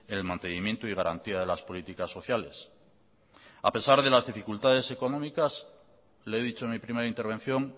el mantenimiento y garantía de las políticas sociales a pesar de las dificultades económicas le he dicho en mi primera intervención